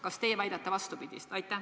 Kas teie väidate vastupidist?